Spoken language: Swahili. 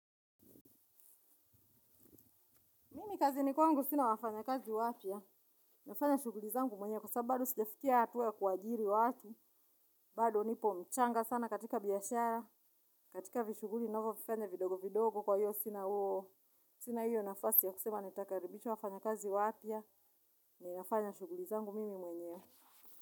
Mimi kazini kwangu, sina wafanya kazi wapya, nafanya shughuli zangu mwenyewe kwa sababu bado sijafikia hatua ya kua ajiri watu, bado nipo mchanga sana katika biashara, katika vishuguli ninavyo vifanya vidogo vidogo kwa hiyo sina huo, sina hiyo nafasi ya kusema nitakaribisha wafanyakazi wapa, ninafanya shughuli zangu mimi mwenyewe.